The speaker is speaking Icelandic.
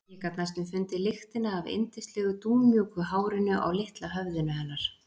Ég gat næstum fundið lyktina af yndislegu dúnmjúku hárinu á litla höfðinu hennar.